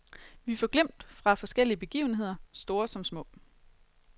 Vi får glimt fra forskellige begivenheder, store som små.